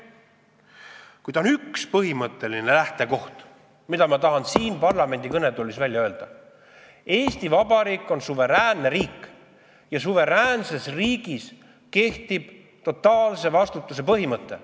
Kuid on üks põhimõtteline lähtekoht, mille ma tahan siin parlamendi kõnetoolis välja öelda: Eesti Vabariik on suveräänne riik ja suveräänses riigis kehtib totaalse vastutuse põhimõte.